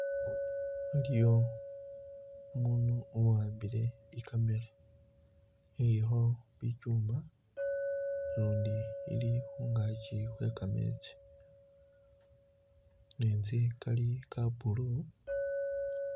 Waliyo umundu uwambile i'camera ilikho bichuma lundi ili khungachi khwegametsi gametsi gali ga blue.